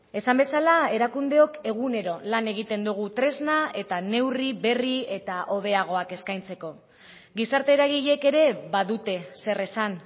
esan bezala erakundeok egunero lan egiten dugu tresna eta neurri berri eta hobeagoak eskaintzeko gizarte eragileek ere badute zer esan